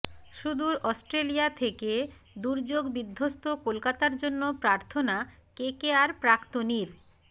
সুদূর অস্ট্রেলিয়া থেকে দুর্যোগ বিধ্বস্ত কলকাতার জন্য প্রার্থনা কেকেআর প্রাক্তনীর